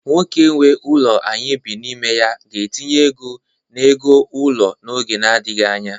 Nwoke nwe ụlọ anyị bi n'ime ya ga-etinye ego n'ego ụlọ n'oge nadịghị anya.